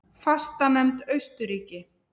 Fastanefnd Austurríki